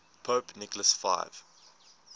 pope nicholas v